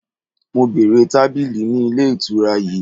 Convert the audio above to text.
Mo bèèrè tabili ni ile itura yii!